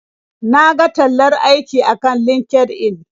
Na ga tallar aiki akan LinkedIn.